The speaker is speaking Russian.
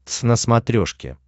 твз на смотрешке